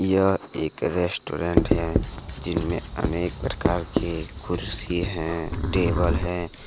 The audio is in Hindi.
यह एक रेस्टोरेंट हैं जिनमें अनेक प्रकार की कुर्सी हैं और टेबल हैं